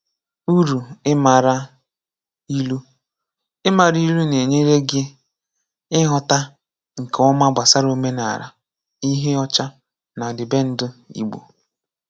Uru Ịmara Ilu: Ịmara ilu na-enyere gi ịghọta nke ọma gbasara omenala, ihe ọcha, na ọdịbendị Igbo.